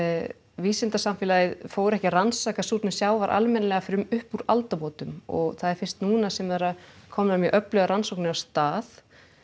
vísindasamfélagið fór ekki að rannsaka súrnun sjávar almennilega fyrr en upp úr aldamótum og það er fyrst núna sem það eru komnar mjög öflugar rannsóknir af stað